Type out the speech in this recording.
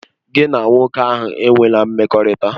Gị na nwoke ahụ enwela mmekọrịta!